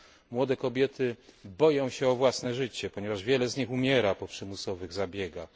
Młode kobiety boją się o własne życie, ponieważ wiele z nich umiera po przymusowych zabiegach.